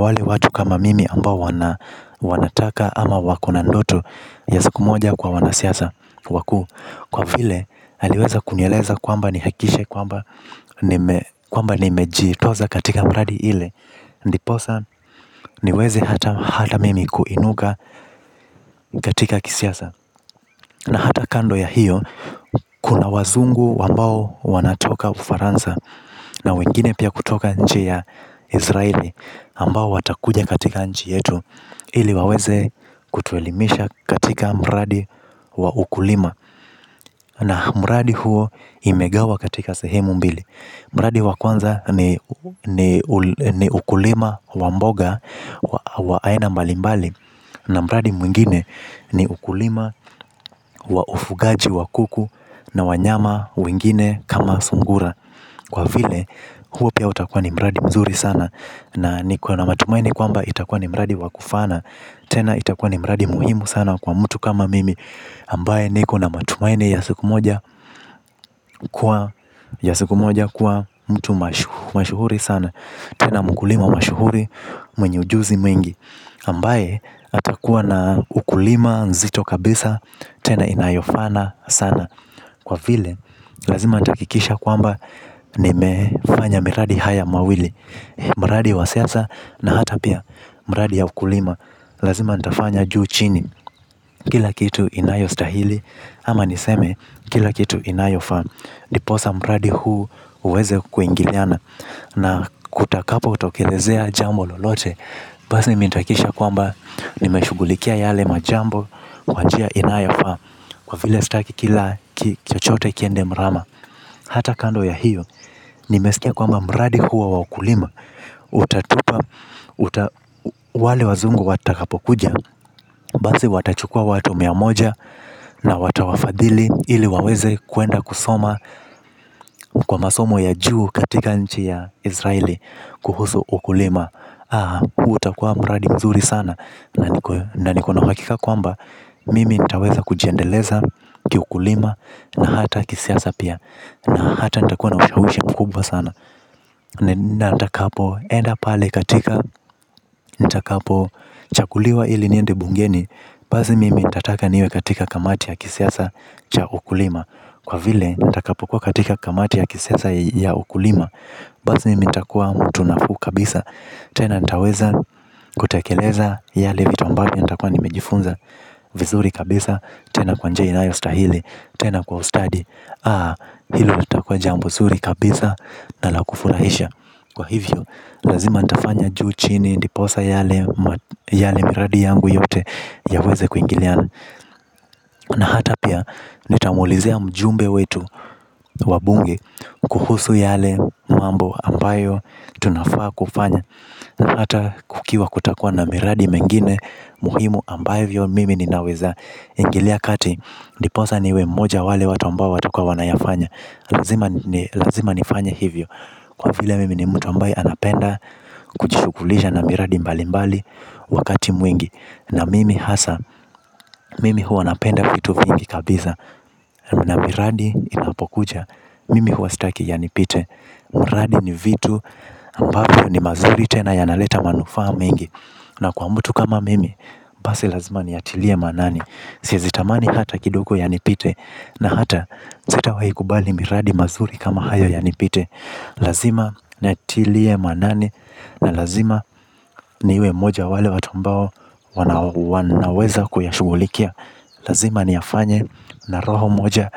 wale watu kama mimi ambao wanataka ama wakona ndoto ya siku moja kuwa wanasiasa wakuu. Kwa vile, aliweza kunieleza kwamba ni hakikishe kwamba nimejiitosa katika mradi ile. Ndiposa niweze hata mimi kuinuka katika kisiasa. Na hata kando ya hiyo kuna wazungu ambao wanatoka ufaransa. Na wengine pia kutoka nchi ya Israeli ambao watakuja katika nji yetu ili waweze kutuelimisha katika mradi wa ukulima na mradi huo imegawa katika sehemu mbili. Mradi wa kwanza ni ukulima wa mboga wa aina mbali mbali. Na mradi mwingine ni ukulima wa ufungaji wa kuku na wanyama wengine kama sungura. Kwa vile huo pia utakua ni mradi mzuri sana, na niko na matumaini kwamba itakua ni mradi wa kufana. Tena itakua ni mradi muhimu sana kwa mtu kama mimi. Ambaye niko na matumaini ya siku moja, kuwa mtu mashuhuri sana. Tena mkulima mashuhuri mwenye ujuzi mwingi ambaye atakuwa na ukulima nzito kabisa tena inayofana sana. Kwa vile lazima nitahakikisha kwamba, nimefanya miradi hii mawili. Mradi wa siasa, na hata pia mradi ya ukulima. Lazima nitafanya juu chini, kila kitu inayostahili, ama niseme kila kitu inayofaa. Ndiposa mradi huu uweze kuingiliana. Na kutakapo tokelezea jambo lolote basi mimi nitahakikisha kwamba, nimeshugulikia yale majambo kwa njia inayofaa. Kwa vile sitaki kila chochote kiende mrama. Hata kando ya hiyo, nimesikia kwamba mradi huo wa ukulima, Utatupa Wale wazungu watakapokuja, basi watachukua watu mia moja na watawafadhili ili waweze kwenda kusoma kwa masomo ya juu katika nchi ya Israeli, Kuhusu ukulima. Haha! Utakua mradi mzuri sana na nikona uhakika kwamba mimi nitaweza kujiendeleza kiukulima, na hata kisiasa pia na hata nitakuwa na ushawishi mkubwa sana. Nitakapochaguliwa ili niende bungeni basi mimi nitataka niwe katika kamati ya kisiasa cha ukulima. Kwa vile nitakapokua katika kamati ya kisiasa ya ukulima, basi nitakuwa mtu nafuu kabisa. Tena nitaweza kutekeleza yale vitu ambavyo nitakuwa nimejifunza vizuri kabisa. Tena kwa njia inayostahili. Tena kwa ustadi. Ah! Hilo litakuwa jambo nzuri kabisa na la kufurahisha. Kwa hivyo, lazima nitafanya juu chini ndiposa yale miradi yangu yote yaweze kuingiliana. Na hata pia nitamuulizia mjumbe wetu wa bunge kuhusu yale mambo ambayo tunafaa kufanya. Na hata kukiwa kutakuwa na miradi mingine muhimu ambayo mimi ninaweza ingilia kati, ndiposa niwe mmoja wa wale watu ambayo watukuwa wanayafanya. Lazima nifanya hivyo. Kwa vile mimi ni mtu ambaye anapenda kujishughulisha na miradi mbali mbali wakati mwingi. Na mimi hasa. Mimi huwa napenda kitu vingi kabisa. Na miradi inapokuja mimi huwa sitaki yanipite. Miradi ni vitu ambavyo ni mazuri tena yanaleta manufaa mengi. Na kwa mtu kama mimi. Basi lazima niyatilie maanani siwezi tamani hata kidogo yanipite. Na hata sitawahikubali miradi mazuri kama hayo yanipite. Lazima niyatilie maanani na lazima niwe mmoja wa wale watu ambao wanaweza kuyashughulikia. Lazima niyafanye na roho moja.